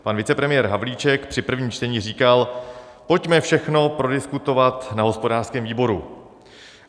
Pan vicepremiér Havlíček při prvním čtení říkal: pojďme všechno prodiskutovat na hospodářském výboru.